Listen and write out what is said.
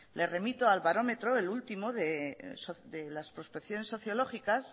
le remito al barómetro el último de las prospecciones sociológicas